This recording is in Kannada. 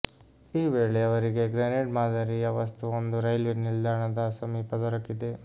ಈ ವೇಳೆ ಅವರಿಗೆ ಗ್ರೆನೇಡ್ ಮಾದರಿಯ ವಸ್ತುವೊಂದು ರೈಲ್ವೇ ನಿಲ್ದಾಣದ ಸಮೀಪ ದೊರಕಿದೆ